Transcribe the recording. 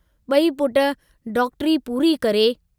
बई पुट डॉक्टरी पूरी करे